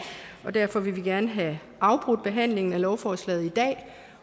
derfor vil vi gerne have afbrudt behandlingen af lovforslaget i dag